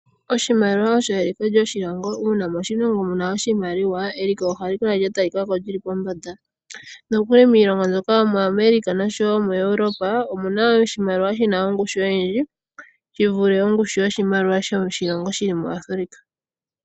Oshimaliwa osho eliko lyoshilongo uuna moshilongo mu na iimaliwa eliko ohali kala lya tali kako lyili pombanda nokuli ngaashi miilongo mbyoka yomwaAmerica noshowo moEuropa omu na oshimaliwa shi na ongushu oyindji yi vule ongushu yoshimaliwa shoshilongo shili muAfrica.